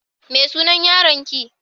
Me sunan yaron ki?